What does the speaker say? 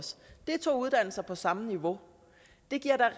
det er to uddannelser på samme niveau det giver